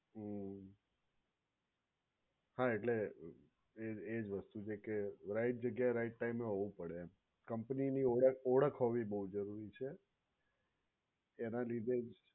હમ્મ. હા એટલે એજ એજ વસ્તુ છે કે right જગ્યાએ right time એ હોવું પડે company ની ઓળખ હોવી બોવ જરૂરી છે એના લીધે જ